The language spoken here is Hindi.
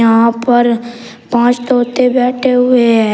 यहां पर पांच तोते बैठे हुए हैं।